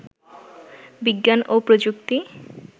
বিজ্ঞান ও প্রযুক্তি